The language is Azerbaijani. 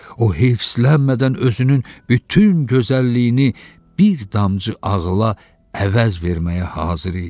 O heyslənmədən özünün bütün gözəlliyini bir damcı ağıla əvəz verməyə hazır idi.